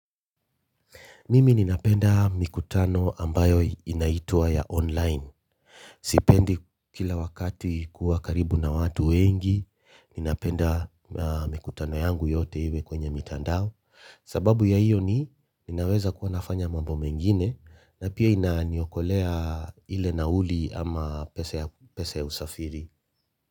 Mimi ninapenda mikutano ambayo inaitwa ya online sipendi kila wakati kuwa karibu na watu wengi ninapenda mikutano yangu yote iwe kwenye mitandao sababu ya hiyo ni ninaweza kuwa nafanya mambo mengine na pia inaniokolea ile nauli ama pesa ya usafiri.